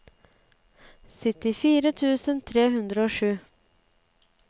syttifire tusen tre hundre og sju